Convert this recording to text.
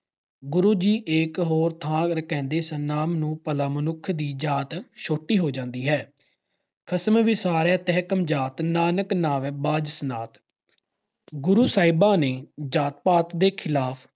ਗੁਰੂ ਜੀ ਇੱਕ ਹੋਰ ਥਾਂ ਕਹਿੰਦੇ ਹਨ ਨਾਮ ਨੂੰ ਭਲਾ ਮਨੁੱਖ ਦੀ ਜਾਤ ਛੋਟੀ ਹੋ ਜਾਂਦੀ ਏ। ਖਸਮੁ ਵਿਸਾਰਹਿ ਤੇ ਕਮਜਾਤਿ॥ ਨਾਨਕ ਨਾਵੈ ਬਾਝੁ ਸਨਾਤਿ ॥ ਗੁਰੂ ਸਾਹਿਬਾਂ ਨੇ ਜਾਤ-ਪਾਤ ਦੇ ਖਿਲਾਫ